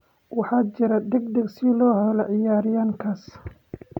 Waxaa jira degdeg si loo helo ciyaaryahankaas''.